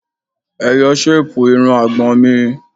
Ẹ yọ ṣéèpù irun àgbọ̀n mi!